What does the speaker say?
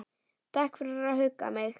Takk fyrir að hugga mig.